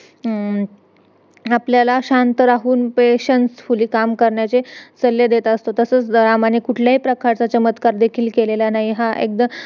आपल्याला शांत राहून patiencefully काम करण्याचे सल्ले देत असतो तसेच रामाने कुठल्याही प्रकारचा चमत्कार देखील केलेला नाही हा एकदा